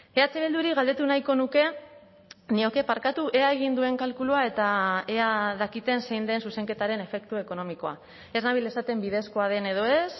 eh bilduri galdetu nahiko nuke nioke barkatu ea egin duen kalkulua eta ea dakiten zein den zuzenketaren efektu ekonomikoa ez nabil esaten bidezkoa den edo ez